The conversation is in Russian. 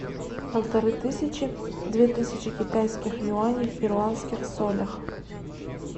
полторы тысячи две тысячи китайских юаней в перуанских солях